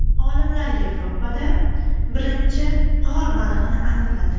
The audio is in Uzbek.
Olimlar Yevropada birinchi g‘or balig‘ini aniqladi.